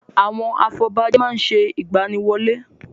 Àwọn afọbajẹ má ń ṣe ìgbaniwọlé.